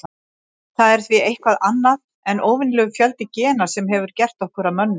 Það er því eitthvað annað en óvenjulegur fjöldi gena sem hefur gert okkur að mönnum.